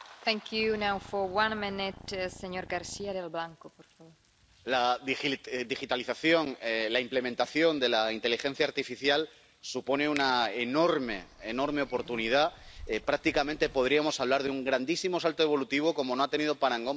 Señora presidenta, la digitalización, la implementación de la inteligencia artificial supone una enorme, enorme oportunidad prácticamente podríamos hablar de un grandísimo salto evolutivo como no ha tenido parangón prácticamente desde la revolución industrial.